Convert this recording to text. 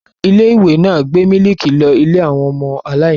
Ilé-ìwé náà gbé mílíkì lọ ilé àwọn ọmọ aláìníìyá.